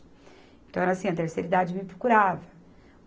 Então, era assim, a terceira idade me procurava.